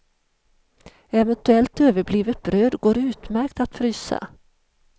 Eventuellt överblivet bröd går utmärkt att frysa.